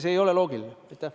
See ei ole loogiline!